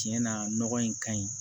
Tiɲɛ na nɔgɔ in ka ɲi